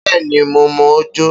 Bee ni, mo mọ̀ ọ́ jó